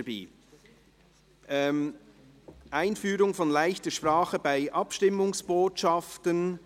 «Einführung von ‹leichter Sprache› bei Abstimmungsbotschaften